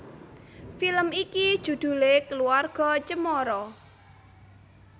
Film iki judhulé Keluarga Cemara